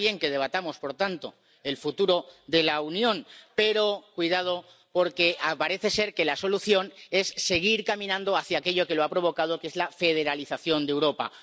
Está bien que debatamos, por tanto, el futuro de la Unión, pero, cuidado, porque parece ser que la solución es seguir caminando hacia aquello que lo ha provocado, que es la federalización de Europa.